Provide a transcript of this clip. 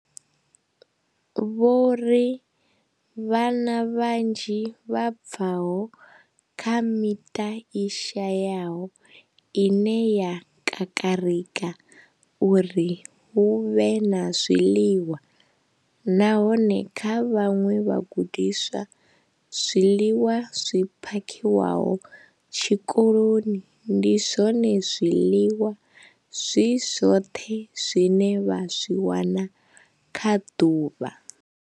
Vho ri, Vhana vhanzhi vha bva kha miṱa i shayaho ine ya kakarika uri hu vhe na zwiḽiwa, nahone kha vhaṅwe vhagudiswa, zwiḽiwa zwi phakhiwaho tshikoloni ndi zwone zwiḽiwa zwi zwoṱhe zwine vha zwi wana kha ḓuvha.